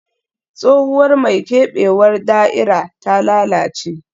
Tsohuwar mai keɓewar da'ira ta lalace